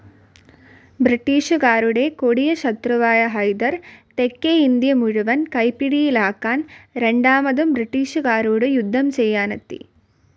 ബ്രിട്ടീഷുകാരുടെ കൊടിയ ശത്രുവായ ഹൈദർ തെക്കേ ഇന്ത്യ മുഴുവൻ കൈപ്പിടിയിലാക്കാൻ രണ്ടാമതും ബ്രിട്ടീഷുകരോടു യുദ്ധം ചെയ്യാനെത്തി.